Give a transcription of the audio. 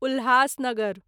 Ulhasnagar